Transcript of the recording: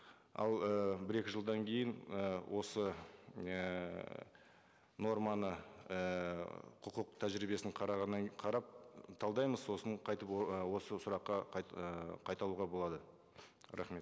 ал ы бір екі жылдан кейін ы осы ііі норманы ііі құқық тәжірибесін қарағаннан қарап талдаймыз сосын қайтып осы сұраққа і қайталауға болады рахмет